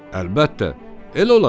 "Əlbəttə, elə olacaq."